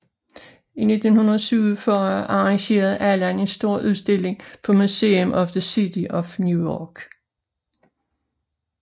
I 1947 arrangerede Alland en stor udstilling på Museum of the City of New York